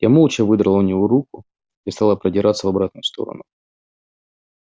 я молча выдрала у него руку и стала продираться в обратную сторону